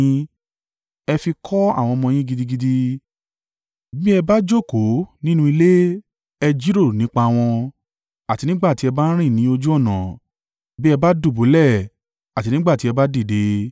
Ẹ fi kọ́ àwọn ọmọ yín gidigidi. Bí ẹ bá jókòó nínú ilé, ẹ jíròrò nípa wọn, àti nígbà tí ẹ bá ń rìn ní ojú ọ̀nà, bí ẹ bá dùbúlẹ̀ àti nígbà tí ẹ bá dìde.